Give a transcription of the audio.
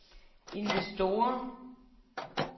investorer